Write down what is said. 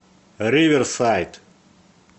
риверсайд